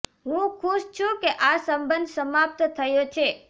હું ખુશ છું કે આ સંબંધ સમાપ્ત થયો છે